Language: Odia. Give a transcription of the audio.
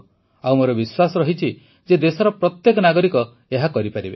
ଆଉ ମୋର ବିଶ୍ୱାସ ଅଛି ଯେ ଦେଶର ପ୍ରତ୍ୟେକ ନାଗରିକ ଏହା କରିପାରିବେ